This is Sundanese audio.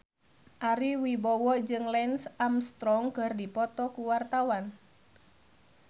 Ari Wibowo jeung Lance Armstrong keur dipoto ku wartawan